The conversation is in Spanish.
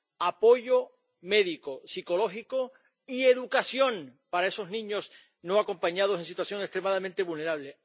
apoyo médico, psicológico y educación para esos niños no acompañados, en situación extremadamente vulnerable.